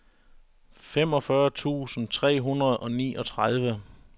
femogfyrre tusind tre hundrede og niogtredive